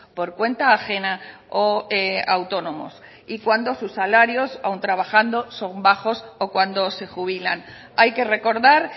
por cuenta ajena o autónomos y cuando sus salarios aun trabajando son bajos o cuando se jubilan hay que recordar